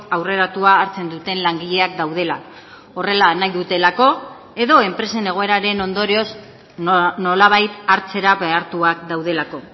aurreratua hartzen duten langileak daudela horrela nahi dutelako edo enpresen egoeraren ondorioz nolabait hartzera behartuak daudelako